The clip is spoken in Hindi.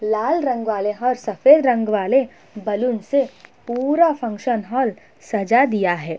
लाल रंग वाले और सफेद रंग वाले बैलून से पूरा फंक्शन हॉल सजा दिया है।